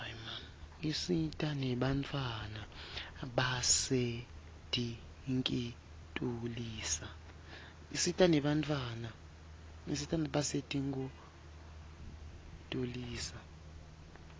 isita nebantfwana basetinkitulisa